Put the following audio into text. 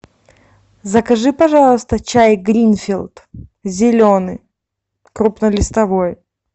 закажи пожалуйста гай гринфилд зеленый крупнолистовой